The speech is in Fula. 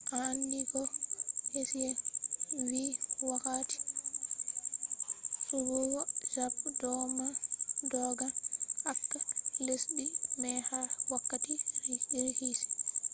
a andi ko hsieh vi wakkati suɓugo zabe do ma doggan acca lesdi mai ha wakkati rikici